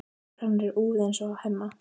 Hár hennar er úfið eins og á Hemma.